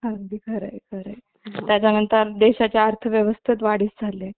अगदी खरंय खरंय त्याच्यानंतर देशाची अर्थव्यवस्था वाढीस झाले